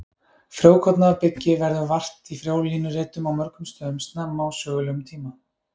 Frjókorna af byggi verður vart í frjólínuritum á mörgum stöðum snemma á sögulegum tíma.